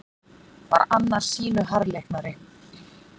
Var annar sýnu harðleiknari.